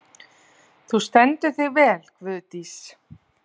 Þú stendur þig vel, Guðdís!